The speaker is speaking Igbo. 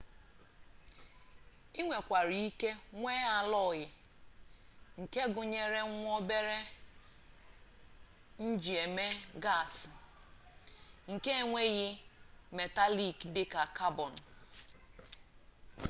i nwekwara ike nwee allọyi nke gụnyere nwa-obere njieme gasị nke enweghị metalik dịka cabọn